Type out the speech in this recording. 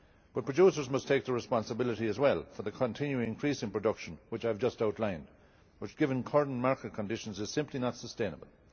But producers must take responsibility as well for the continuing increase in production which I have just outlined and which, given current market conditions, is simply not sustainable.